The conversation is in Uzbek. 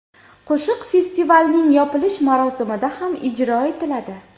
Qo‘shiq festivalning yopilish marosimida ham ijro etiladi.